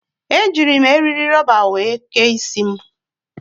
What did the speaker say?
Ejiiri m eri rọba were kee isi m.